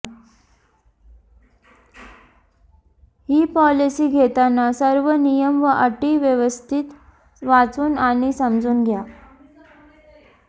ही policy घेताना सर्व नियम व अटी व्यवस्थित वाचून आणि समजून घ्या